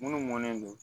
Munnu mɔnnen don